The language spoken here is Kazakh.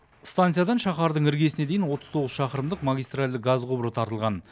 станциядан шаһардың іргесіне дейін отыз тоғыз шақырымдық магистральді газ құбыры тартылған